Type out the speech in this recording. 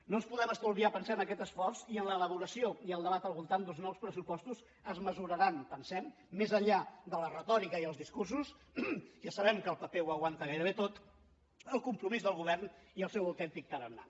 no ens podem estalviar pensem aquest esforç i en l’elaboració i el debat al voltant d’uns nous pressupostos es mesuraran pensem més enllà de la retòrica i els discursos ja sabem que el paper ho aguanta gairebé tot el compromís del govern i el seu autèntic tarannà